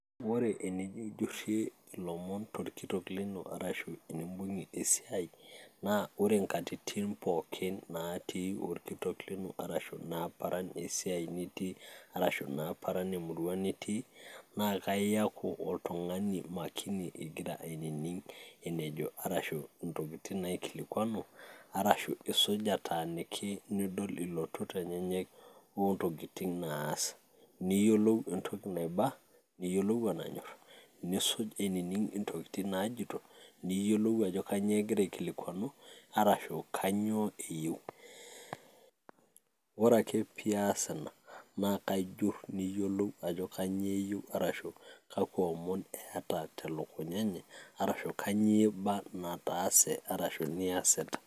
Ore enjurrore ilomon torkitok lino ashu enibugie esiaaai naa ore inkatitin pooki naati orkitok lino arashu naa paran esiaai nitii naa iyaku oltung'ani makini igira ainining' enejo ashu intokitin naikilikuanu, nitaaniki niyiolou intokitin naas niyiolou enaiba wenanyor, niyiolou ajo kainyoo egira aikiluanu arashu kainyoo eyieu ore ake pee iyaas nena neyiolou ajo kanyioo iyasita.